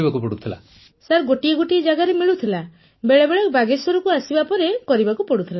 Punam Nautiyal sir ଗୋଟିଏ ଗୋଟିଏ ଜାଗାରେ ମିଳୁଥିଲା ବେଳେବେଳେ ବାଗେଶ୍ୱରକୁ ଆସିବା ପରେ କରିବାକୁ ପଡୁଥିଲା